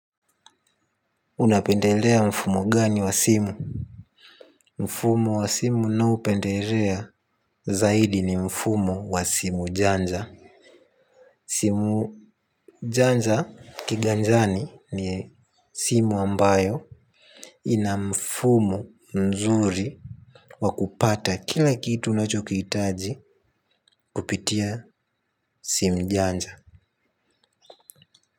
Unapendelea mfumo gani wa simu. Mfumo wa simu ninaopendelea zaidi ni mfumo wa simu janja. Simu janja kiganjani ni simu ambayo ina mfumo nzuri wakupata kila kitu unachokihitaji kupitia simu janja.